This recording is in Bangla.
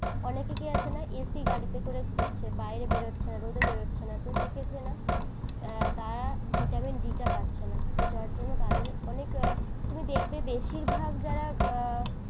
অনেকে কি আছে না ac গাড়িতে করে ঘুরছে । বাইরে বের হচ্ছে না, রোদে বেরোচ্ছে না। তো সেক্ষেত্রে না তারা ভিটামিন ডি টা পাচ্ছে না। তো যার জন্য তাদের অনেক তুমি দেখবে বেশিরভাগ যারা